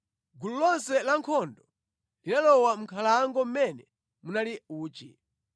Gulu lonse la ankhondo linalowa mʼnkhalango mmene munali uchi.